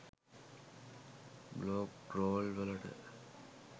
Blog roll වලට.